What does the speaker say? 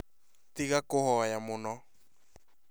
Tiga kũhoya mũno